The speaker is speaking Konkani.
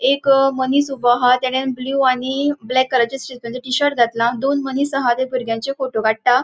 एक मनिस ऊबो आहा तेनेन ब्लू आणि ब्लैक कलरचे स्ट्रीपसाचे टी शर्ट घातला दोन मनिस आहा ते बुर्ग्यांचे फोटो काट्टा.